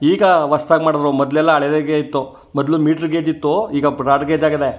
ಈಗ ಹೊಸ್ತಾಗಿ ಮಾಡದ್ರೂ ಮೊದ್ಲಲೆಲ್ಲಾ ಹಳೆದಾಗೆ ಇತ್ತು ಮೊದ್ಲು ಮಿಟ್ರ ಗೇಜ್ ಇತ್ತು ಈಗ ಬ್ರೊಡ್ ಗೇಜ್ ಆಗಿದೆ.